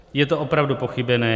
Je to opravdu pochybené.